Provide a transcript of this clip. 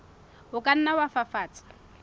o ka nna wa fafatsa